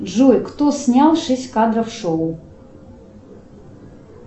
джой кто снял шесть кадров шоу